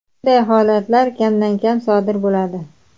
Bunday holatlar kamdan kam sodir bo‘ladi.